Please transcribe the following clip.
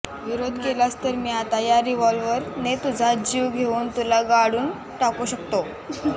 विरोध केलास तर मी आता या रिव्हॉल्वर ने तुझा जीव घेऊन तुला गाडून टाकू शकतो